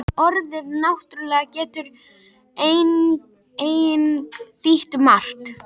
Orðið náttúrulegt getur einnig þýtt margt.